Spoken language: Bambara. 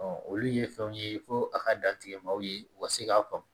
olu ye fɛnw ye fo a ka da tigɛ ma ye u ka se k'a faamu